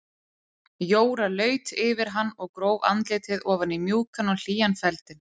Jóra laut yfir hann og gróf andlitið ofan í mjúkan og hlýjan feldinn.